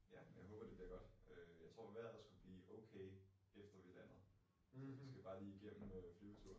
Ja, men jeg håber det bliver godt. Øh jeg tror vejret skulle blive okay efter vi landet så vi skal bare lige igennem øh flyveturen